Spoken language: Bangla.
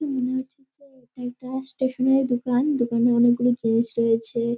মনে হচ্ছে যে এটা একটা ষ্টেশনারী দোকান। দোকানে অনেক গুলি গেস্ট রয়েছে।